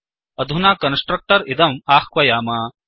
अधुना कन्स्ट्रक्टर् इदम् आह्वयाम